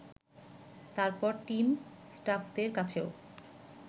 তারপর টিম ষ্টাফদের কাছেও